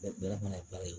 Bɛɛ fana b'a ye